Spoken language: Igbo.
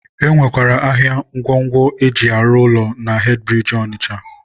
e nwekwara ahịa ngwongwo e ji arụ ụlọ na hedịbiriji Ọnịcha..